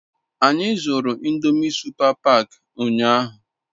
Anyi zuru ndomi supa pak unyahu